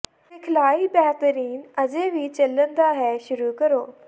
ਸਿਖਲਾਈ ਬੇਹਤਰੀਨ ਅਜੇ ਵੀ ਚੱਲਣ ਦਾ ਹੈ ਸ਼ੁਰੂ ਕਰੋ